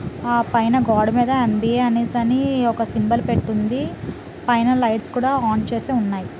ఆ పైన గోడ మీద ఎం బి ఎ అని ఒక సింబల్ పెట్టి ఉంది పైన లైట్స్ కూడా ఆన్ చేసి ఉన్నాయి.